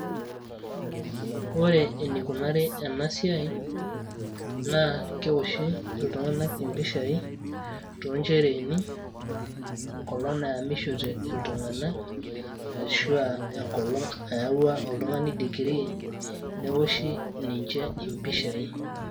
Ore enikunari enasiai, naa kewoshi iltung'anak impishai tonchereeni, enkolong' naemishote iltung'anak, ashu enkolong' naawua oltung'ani digirii, newoshi ninche impishai.